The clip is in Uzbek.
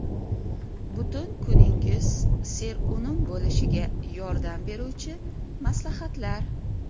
Butun kuningiz serunum bo‘lishiga yordam beruvchi maslahatlar.